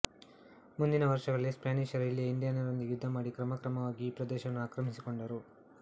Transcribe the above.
ಮುಂದಿನ ವರ್ಷಗಳಲ್ಲಿ ಸ್ಪ್ಯಾನಿಷರು ಇಲ್ಲಿಯ ಇಂಡಿಯನರೊಂದಿಗೆ ಯುದ್ಧ ಮಾಡಿ ಕ್ರಮಕ್ರಮವಾಗಿ ಈ ಪ್ರದೇಶವನ್ನು ಆಕ್ರಮಿಸಿಕೊಂಡರು